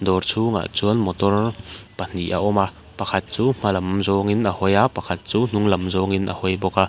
dawr chhungah chuan motor pahnih a awm a pakhat chu hmalam zawngin a hawi a pakhat chu hnunglam zawngin a hawi bawk a.